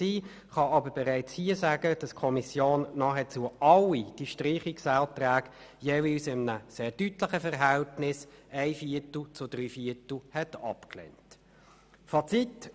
Ich kann aber schon hier sagen, dass die Kommission nahezu alle diese Streichungsanträge jeweils mit dem sehr deutlichen Verhältnis von einem Viertel zu drei Vierteln abgelehnt hat.